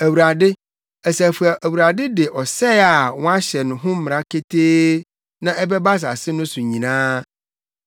Awurade, Asafo Awurade de ɔsɛe a wɔahyɛ ho mmara ketee na ɛbɛba asase no so nyinaa.